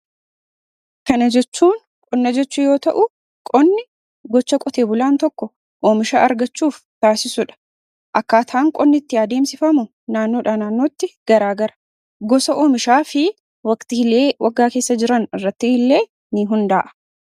Kana jechuun, qonna jechuu yoo ta'u, qonni gocha qotee bulaan tokko oomisha argachuuf taasisudha. Akkaataan qonni itti adeemsifamu naannoodhaa naannootti garaagara. Gosa oomishaa fi waqtiilee waggaa keessa jiran irratti illee ni hundaa'a.